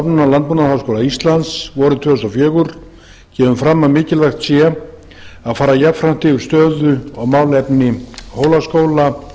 stofnunar landbúnaðarháskóla íslands vorið tvö þúsund og fjögur kemur fram að mikilvægt sé að fara jafnframt yfir stöðu og málefni hólaskóla